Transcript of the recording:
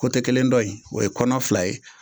kelen dɔ in o ye kɔnɔ fila ye,